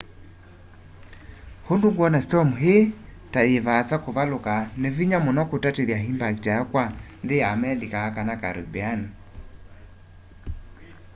undu ngwona storm ii ta yivaasa kuvaluka ni vinya muno kutatithya impact yayo kwa nthi ya amelika kana caribbean